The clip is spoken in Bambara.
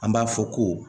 An b'a fɔ ko